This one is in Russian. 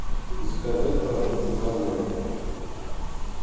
заказать продукты домой